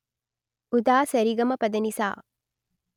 ఉదా స రి గ మ ప మ ప ద ని సా